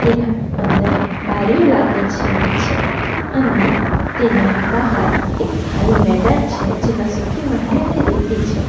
એના અંદર બારીઓ લાગી છે નીચે અને તેના બહાર એક ખાલી મેદાન છે જેમાં સુખી માટી અને રેતી છે.